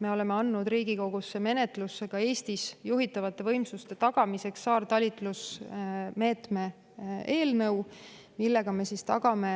Me oleme andnud Riigikogu menetlusse saartalitluse meetme eelnõu juhitavate võimsuste tagamiseks Eestis, millega me tagame